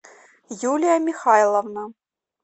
юлия михайловна